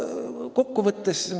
Kokkuvõtteks.